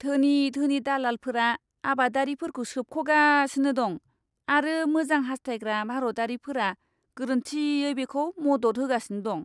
धोनि धोनि दालालफोरा आबादारिफोरखौ सोबख'गासिनो दं आरो मोजां हास्थायग्रा भारतारिफोरा गोरोन्थियै बेखौ मदद होगासिनो दं!